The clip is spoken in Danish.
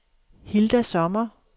Hilda Sommer